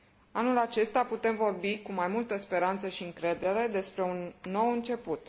Anul acesta putem vorbi cu mai multă speranță și încredere despre un nou început.